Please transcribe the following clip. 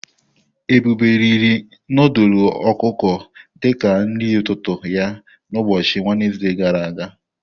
Ebube riri nudulu ọkụkọ di ka nri ụtụtụ ya na ụbọchị Wenezde gara aga.